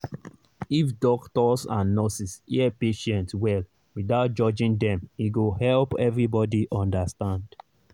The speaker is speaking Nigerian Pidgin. if doctors and nurses hear patient well without judging dem e go help everybody understand